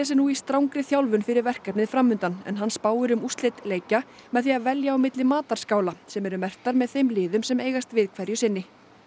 nú í strangri þjálfun fyrir verkefnið fram undan en hann spáir um úrslit leikja með því að velja á milli sem eru merktar þeim liðum sem eigast við hverju sinni